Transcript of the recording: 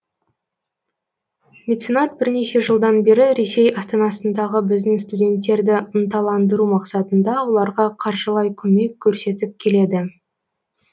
меценат бірнеше жылдан бері ресей астанасындағы біздің студенттерді ынталандыру мақсатында оларға қаржылай көмек көрсетіп келеді